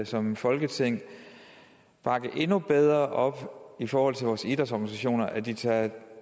som folketing bakke endnu bedre op i forhold til vores idrætsorganisationer så de tager